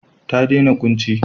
Ta dena kunci.